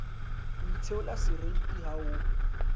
o itheola seriti ha o